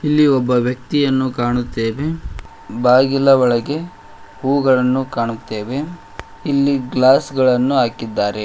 ಇಲ್ಲಿ ಒಬ್ಬ ವ್ಯಕ್ತಿಯನ್ನು ಕಾಣುತ್ತೇವೆ ಬಾಗಿಲ ಒಳಗೆ ಹೂಗಳನ್ನು ಕಾಣುತ್ತೇವೆ ಇಲ್ಲಿ ಗ್ಲಾಸ್ ಗಳನ್ನು ಹಾಕಿದ್ದಾರೆ.